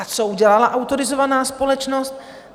A co udělala autorizovaná společnost?